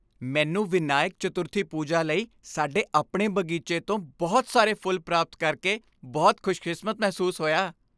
ਮੈਨੂੰ ਵਿਨਾਇਕ ਚਤੁਰਥੀ ਪੂਜਾ ਲਈ ਸਾਡੇ ਆਪਣੇ ਬਗੀਚੇ ਤੋਂ ਬਹੁਤ ਸਾਰੇ ਫੁੱਲ ਪ੍ਰਾਪਤ ਕਰਕੇ ਬਹੁਤ ਖੁਸ਼ਕਿਸਮਤ ਮਹਿਸੂਸ ਹੋਇਆ।